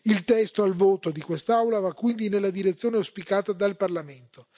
Il testo al voto di quest'Aula va quindi nella direzione auspicata dal Parlamento.